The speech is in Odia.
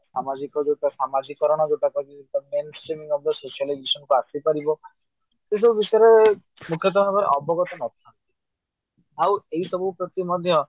ସାମାଜିକ ଯୋଉଟା ସମାଜିକରଣ ଯୋଉଟା ଆସିପାରିବ ଏସବୁ ବିଷୟରେ ମୁଖ୍ୟତ ଭାବରେ ଅବଗତ ନଥାନ୍ତି ଆଉ ଏହି ସବୁ ପ୍ରତି ମଧ୍ୟ